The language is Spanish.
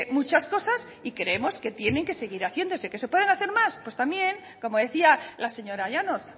muchas cosas y creemos que tienen que seguir haciéndose qué se pueden hacer más pues también como decía la señora llanos